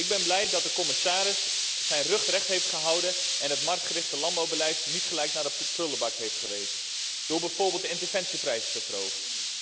Ik ben blij dat de commissaris zijn rug recht heeft gehouden en het marktgerichte landbouwbeleid niet gelijk naar de prullenbak heeft verwezen door bijvoorbeeld de interventieprijs te verhogen.